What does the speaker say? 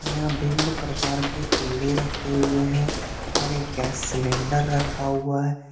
यहां भिन्न प्रकार के पेड़े रखे हुए हैं और एक गैस सिलेंडर रखा हुआ है।